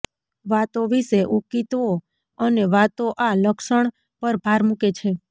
વાતો વિશે ઉકિતઓ અને વાતો આ લક્ષણ પર ભાર મૂકે છે